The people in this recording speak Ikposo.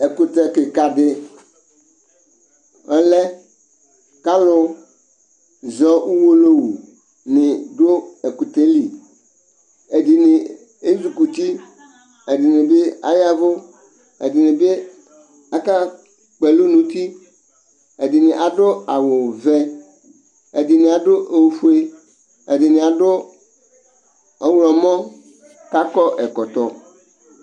Ɛkʋtɛ kikaɖi ɔlɛ k'alʋzɔ uwolowuni ɖʋ ɛkʋtɛli Ɛɖini ɛzuikuti, ɛɖinibi ayɛvu ,ɛɖinibi aka kpɔɛlʋ n'ʋtiƐɖini aɖʋ awuvɛ, ɛɖni aɖʋ ofue, ɛɖini aɖʋ ɔɣlɔmɔ, k'akɔ ɛkɔtɔ